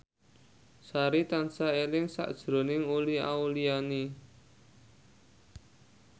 Sari tansah eling sakjroning Uli Auliani